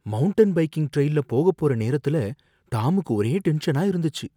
Mountain biking ட்ரெயில்ல போகப் போற நேரத்துல டாமுக்கு ஒரே டென்ஷனா இருந்துச்சு.